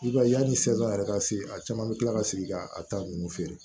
I b'a ye yani sɛli yɛrɛ ka se a caman be kila ka segin ka a ta nunnu feere